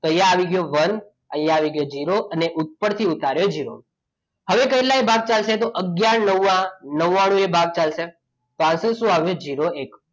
તો અહીંયા આવી ગયો one અહીં આવી ગયો ઝીરો અને ઉપરથી ઉતાર્યું જીરો હવે કેટલાય ભાગ ચાલશે તો આગયાર નવા નવાનું એ ભાગ ચાલશે તો answer શું આવશે ઝીરો એક